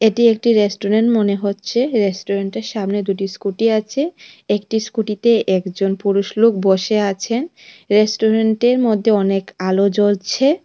এটি একটি রেস্টুরেন্ট মনে হচ্ছে রেস্টুরেন্টের সামনে দুটি স্কুটি আছে একটি স্কুটিতে একজন পুরুষ লোক বসে আছেন রেস্টুরেন্টের মধ্যে অনেক আলো জ্বলছে।